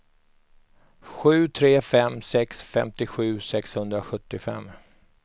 sju tre fem sex femtiosju sexhundrasjuttiofem